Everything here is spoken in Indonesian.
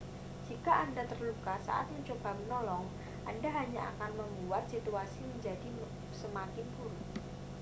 jika anda terluka saat mencoba menolong anda hanya akan membuat situasi menjadi semakin buruk